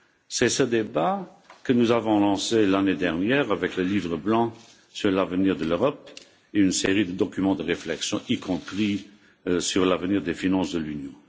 C'est ce débat que nous avons lancé l'année dernière avec le livre blanc sur l'avenir de l'Europe et une série de documents de réflexion, y compris sur l'avenir des finances de l'Union.